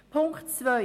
Punkt 2